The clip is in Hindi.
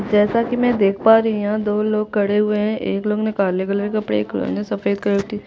जैसा कि मैं देख पा रही हूँ कि दो लोग खड़े हुए है एक लोग ने काले कलर का और एक लोग ने सफ़ेद कलर की टी- शर्ट --